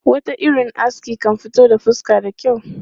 Wata irin aski kan fito da fuska da kyau.